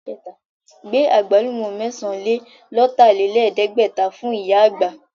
Gbé Àgbálùmọ́ mẹ́sàn-án-lé-lọ̀tàlẹ̀ẹ́dẹ́gbẹ̀ta fún ìyá àgbà!